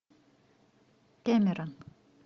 кэмерон